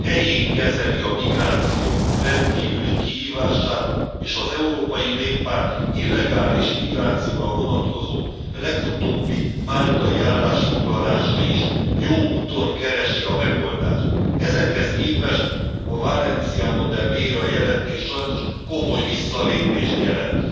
helyén kezeli a migráció rendkívüli kihívását, és az Európai Néppárt illegális migrációra vonatkozó, legutóbbi máltai állásfoglalása is jó úton keresi a megoldást. Ezekhez képtest a Valenciano de Mera jelentés sajnos komoly visszalépést jelent.